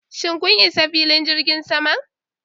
Shin kun isa filin jirgin saman?